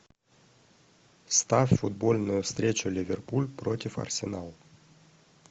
ставь футбольную встречу ливерпуль против арсенала